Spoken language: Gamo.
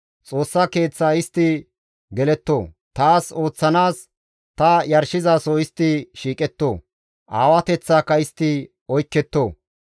Xoossa Keeththa istti geletto; taas ooththanaas ta yarshizaso istti shiiqetto; aawateththaaka istti oykketto.